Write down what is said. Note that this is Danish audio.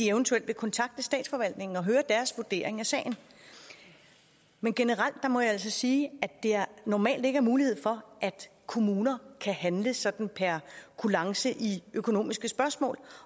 eventuelt vil kontakte statsforvaltningen og høre dens vurdering af sagen men generelt må jeg altså sige at der normalt ikke er mulighed for at kommuner kan handle sådan per kulance i økonomiske spørgsmål